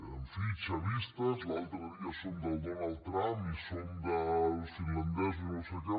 en fi chavistes i l’altre dia som del donald trump i som dels finlandesos no sé què